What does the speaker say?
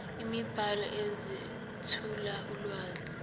imibhalo ezethula ulwazi